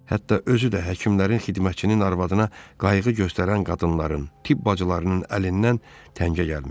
Hətta özü də həkimlərin, xidmətçinin, arvadına qayğı göstərən qadınların, tibb bacılarının əlindən təngə gəlinmişdi.